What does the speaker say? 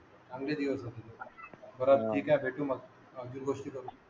चांगले दिवस होते ते बर ठीके भेटू मग आणखीन गोष्टी करू